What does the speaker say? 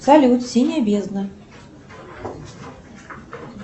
салют синяя бездна